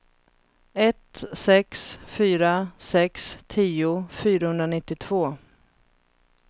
ett sex fyra sex tio fyrahundranittiotvå